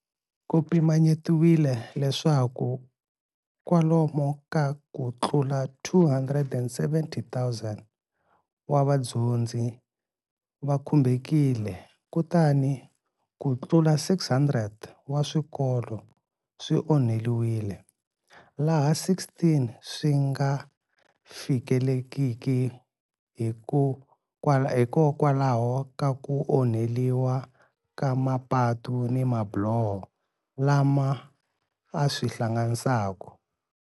Ku pimanyetiwe leswaku kwalomu ka ku tlula 270 000 wa vadyondzi va khumbekile kutani ku tlula 600 wa swikolo swi onhiwile, laha 16 swi nga fikelelekiki hikokwalaho ka ku onheliwa ka mapatu ni mabiloho lama a swi hlanganisaka.